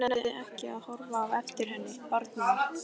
Megnaði ekki að horfa á eftir henni, barninu.